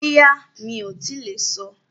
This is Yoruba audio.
Bóyá, mi ò tíì lè sọ